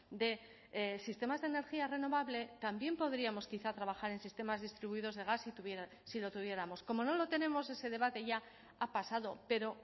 de sistemas de energía renovable también podríamos quizá trabajar en sistemas distribuidos de gas si lo tuviéramos como no lo tenemos ese debate ya ha pasado pero